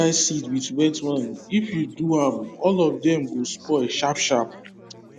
no mix dry seed with wet one if you do am all of dem go spoil sharp sharp